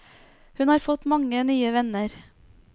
Hun har fått mange nye venner.